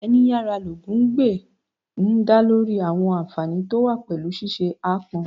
Ẹni yára ní lógun gbè' ń dá lórí àwọn ànfààní tó wà pẹ̀lú ṣíṣe aápọn